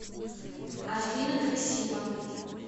афина красиво